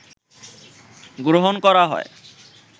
গ্রহণ করা হয়